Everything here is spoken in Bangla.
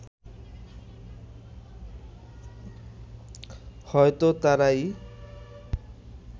হয়তো তারাই